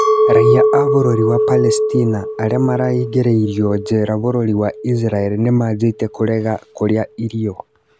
Raiya a bũrũri wa Palestina arĩa maraingĩirwo njera bũrũri wa Isiraeli nĩmanjĩtie kũrega kũrĩa irio